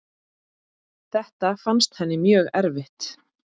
Þetta fannst henni mjög erfitt.